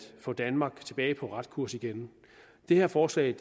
få danmark tilbage på ret kurs igen det her forslag